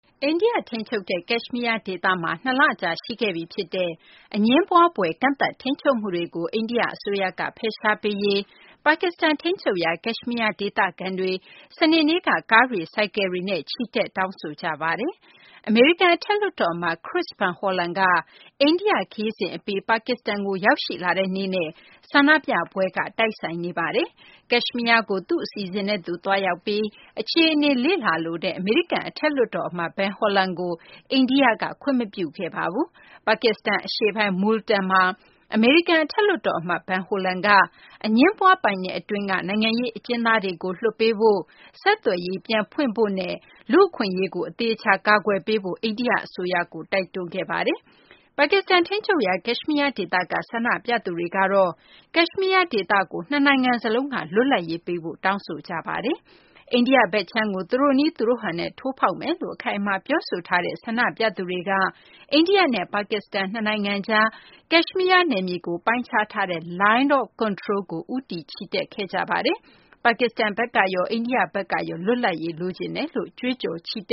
အိန္ဒိယထိန်းချုပ်တဲ့ ကက်ရှ်မီးယားဒေသမှာ ၂ လကြာ ရှိခဲ့ပြီဖြစ်တဲ့ အငြင်းပွားဖွယ် ကန့်သတ်ထိန်းချုပ်မှုတွေကို အိန္ဒိယအစိုးရက ဖယ်ရှားပေးရေး ပါကစ္စတန်ထိန်းချုပ်ရာ ကက်ရှ်မီးယား ဒေသခံတွေ စနေနေ့က ကားတွေ၊ ဆိုင်ကယ်တွေနဲ့ ချီတက် တောင်းဆိုခဲ့ကြပါတယ်။ အမေရိကန် အထက်လွှတ်တော်အမတ် Chris Van Hollen က အိန္ဒိယနိုင်ငံ ခရီးစဉ်အပြီး ပါကစ္စတန်ကို ရောက်ရှိလာတဲ့နေ့နဲ့ ဆန္ဒပြပွဲက တိုက်ဆိုင်နေတာပါ။ ကက်ရှ်မီးယားကို သူ့အစီအစဉ်နဲ့သူ သွားရောက်ပြီး အခြေအနေ လေ့လာလိုတဲ့ အမေရိကန် အထက်လွှတ်တော်အမတ် Van Hollen ကို အိန္ဒိယက ခွင်မပြုခဲ့ပါဘူး။ ပါကစ္စတန်အရှေ့ပိုင်း Multan မှာ အမေရိကန် အထက်လွှတ်တော်အမတ် Van Hollen က အငြင်းပွားပိုင်နက်အတွင်းက နိုင်ငံရေးအကျဉ်းသားတွေကို လွှတ်ပေးဖို့၊ ဆက်သွယ်ရေး ပြန်ဖွင့်ဖို့နဲ့ လူ့အခွင့်အရေးကို အသေအချာ ကာကွယ်ပေးဖို့ အိန္ဒိယ အစိုးရကို တိုက်တွန်းခဲ့ပါတယ်။ ပါကစ္စတန်ထိန်းချုပ်ရာ ကက်ရှ်မီးယားဒေသက ဆန္ဒပြသူတွေကတော့ ကက်ရှ်မီးယား ဒေသကို နှစ်နိုင်ငံစလုံးက လွတ်လပ်ရေးပေးဖို့ တောင်းဆိုခဲ့ကြပါတယ်။ အိန္ဒိယဘက်ခြမ်းကို သူတို့နည်း သူတို့ဟန်နဲ့ ထိုးဖောက်မယ်လို့ အခိုင်အမာ ပြောဆိုထားတဲ့ ဆန္ဒပြသူတွေက အိန္ဒိယနဲ့ ပါကစ္စတန် နှစ်နိုင်ငံကြား ကက်ရှ်မီးယား နယ်မြေကို ပိုင်းခြားထားတဲ့ Line of Control ကို ဦးတည်ချီတက်ခဲ့ကြပါတယ်။ ပါကစ္စတန်ဘက်ကရော အိန္ဒိယဘက်ကရော လွတ်လပ်ရေး လိုချင်တယ်လို့ ကြွေးကြော် ချီတ